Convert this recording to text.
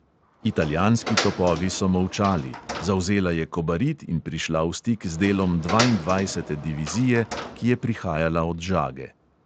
Italijanski topovi so molčali, zavzela je kobarid in prišla v stik z delom dvaindvajsete divizije, ki je prihajala od žage.